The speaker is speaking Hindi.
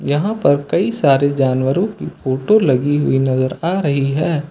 यहां पर कई सारे जानवरों की फोटो लगी हुई नजर आ रही है।